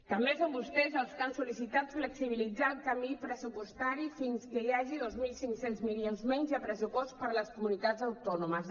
també són vostès els que han sol·licitat flexibilitzar el camí pressupostari fins que hi hagi dos mil cinc cents milions menys al pressupost per a les comunitats autònomes